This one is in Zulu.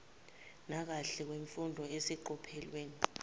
nakahle kwemfundo eseqophelweni